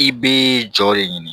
I bɛ jɔ de ɲini